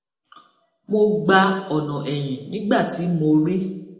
mo gba ọnà ẹyìn nígbà tí mo rí